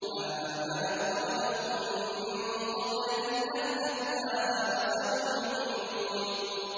مَا آمَنَتْ قَبْلَهُم مِّن قَرْيَةٍ أَهْلَكْنَاهَا ۖ أَفَهُمْ يُؤْمِنُونَ